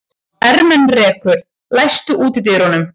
Ermenrekur, læstu útidyrunum.